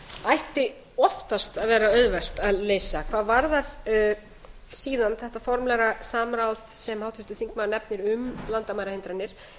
ætti oftast að vera auðvelt að leysa hvað varðar síðan þetta formlega samráð sem háttvirtur þingmaður nefnir um landamærahindranir